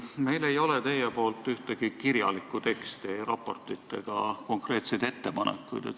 Meil ei ole teilt saadud ühtegi kirjalikku teksti, ei raportit ega konkreetseid ettepanekuid.